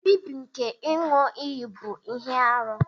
Nbibi nke iṅu-iyi bu ihe-árú.